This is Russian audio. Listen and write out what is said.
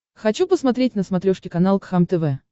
хочу посмотреть на смотрешке канал кхлм тв